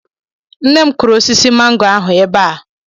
Nne m kụrụ osisi mango ahụ ebe a.